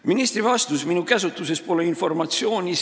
Ministri vastus: minu käsutuses pole informatsiooni.